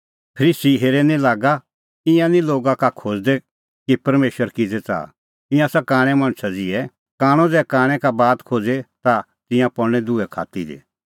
फरीसी हेरै निं लागा ईंयां निं लोगा का खोज़दै कि परमेशर किज़ै च़ाहा ईंयां आसा कांणै मणछा ज़िहै कांणअ ज़ै कांणै का बात खोज़े ता तिंयां पल़णै दुहै खात्ती दी